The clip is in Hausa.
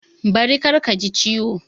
Bari kar ka ji ciwo!